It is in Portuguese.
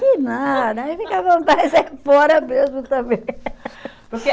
Que nada, aí ficava mais é fora mesmo também. Porque